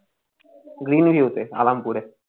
Green View তে আরামপুরে